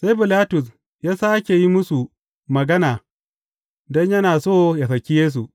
Sai Bilatus ya sāke yin musu magana don yana so ya saki Yesu.